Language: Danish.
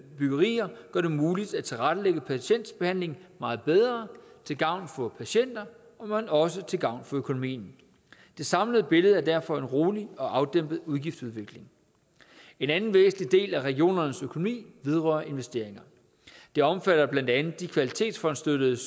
byggerier gør det muligt at tilrettelægge patientbehandlingen meget bedre til gavn for patienter men også til gavn for økonomien det samlede billede er derfor en rolig og afdæmpet udgiftsudvikling en anden væsentlig del af regionernes økonomi vedrører investeringer det omfatter blandt andet de kvalitetsfondsstøttede